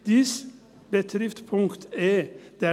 Dies betrifft den Punkt e.